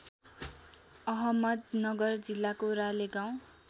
अहमदनगर जिल्लाको रालेगाउँ